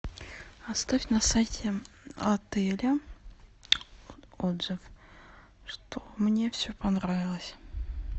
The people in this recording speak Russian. оставь на сайте отеля отзыв что мне все понравилось